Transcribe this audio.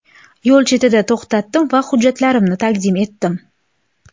Yo‘l chetida to‘xtadim va hujjatlarimni taqdim etdim.